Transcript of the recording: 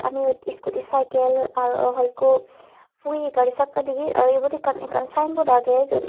ami iyot scooty cycle aro hoi ikko phuye gari chakka digir aro ibot ekkan ekkan sign board agey jiyot--